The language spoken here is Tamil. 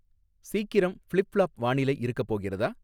சீக்கிரம் ஃபிளிப் ஃப்ளாப் வானிலை இருக்கப் போகிறதா